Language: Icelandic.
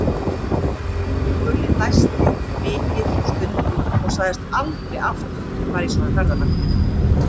Gulli dæsti mikið og stundi og sagðist aldrei aftur fara í svona ferðalag.